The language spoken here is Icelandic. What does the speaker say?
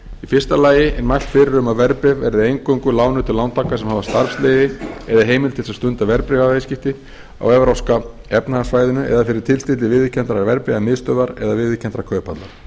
fyrsta lagi er mælt fyrir um að verðbréf verði eingöngu lánuð til lántaka sem hafa starfsleyfi eða heimild til þess að stunda verðbréfaviðskipti á evrópska efnahagssvæðinu eða fyrir tilstilli viðurkenndrar verðbréfamiðstöðvar eða viðurkenndrar kauphallar